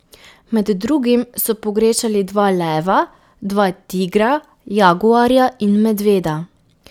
Med drugim so pogrešali dva leva, dva tigra, jaguarja in medveda.